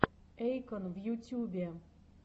эйкон в ютюбе